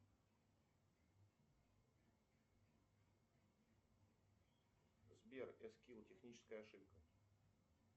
сбер эскил техническая ошибка